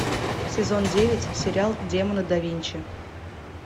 сезон девять сериал демоны да винчи